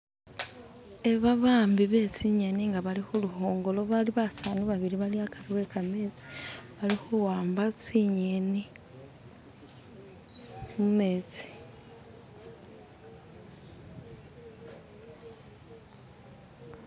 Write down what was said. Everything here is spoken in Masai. iba bahambi betsinyeni nga bali huli hongolo bali basani babiri bali akari yekametsi bali huwamba tsinyeni mumetsi